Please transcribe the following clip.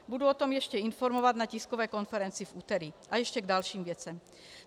Budu o tom ještě informovat na tiskové konferenci v úterý, a ještě k dalším věcem.